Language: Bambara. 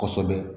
Kosɛbɛ